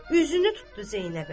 Üzünü tutdu Zeynəbə.